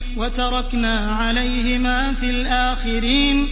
وَتَرَكْنَا عَلَيْهِمَا فِي الْآخِرِينَ